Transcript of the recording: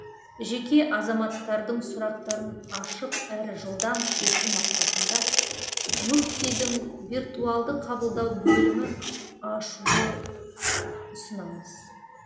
жеке азаматтардың сұрақтарын ашық әрі жылдам шешу мақсатында мүфтидің виртуалды қабылдау бөлімі ашуды ұсынамыз